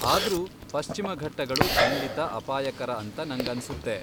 ಆದ್ರೂ ಪಶ್ಚಿಮ ಘಟ್ಟಗಳು ಖಂಡಿತಾ ಅಪಾಯಕರ ಅಂತ ನಂಗನ್ಸುತ್ತೆ.